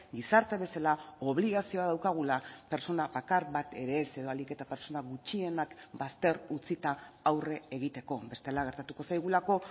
gizarte bezala obligazioa daukagula pertsona bakar bat ere ez edo ahalik eta pertsona gutxienak bazter utzita aurre egiteko bestela gertatuko zaigulako